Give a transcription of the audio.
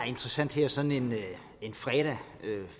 interessant her sådan en fredag